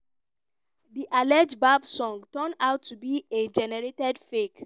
di alleged bieber song turn out to be ai-generated fake.